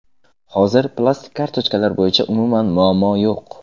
Hozir plastik kartochkalar bo‘yicha umuman muammo yo‘q.